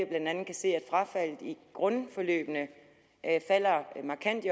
blandt andet kan se at frafaldet i grundforløbene falder markant